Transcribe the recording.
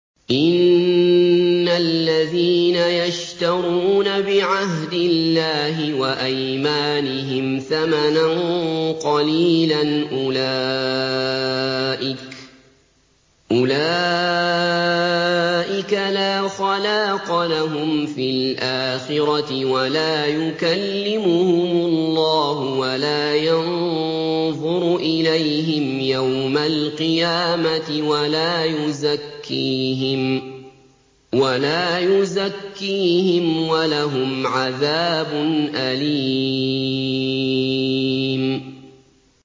إِنَّ الَّذِينَ يَشْتَرُونَ بِعَهْدِ اللَّهِ وَأَيْمَانِهِمْ ثَمَنًا قَلِيلًا أُولَٰئِكَ لَا خَلَاقَ لَهُمْ فِي الْآخِرَةِ وَلَا يُكَلِّمُهُمُ اللَّهُ وَلَا يَنظُرُ إِلَيْهِمْ يَوْمَ الْقِيَامَةِ وَلَا يُزَكِّيهِمْ وَلَهُمْ عَذَابٌ أَلِيمٌ